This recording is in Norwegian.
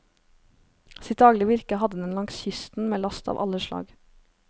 Sitt daglige virke hadde den langs kysten med last av alle slag.